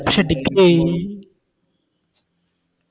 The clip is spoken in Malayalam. പക്ഷെ Degree